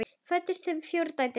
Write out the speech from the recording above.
Fæddust þeim fjórar dætur.